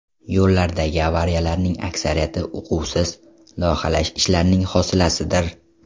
Yo‘llardagi avariyalarning aksariyati uquvsiz loyihalash ishlarining hosilasidir.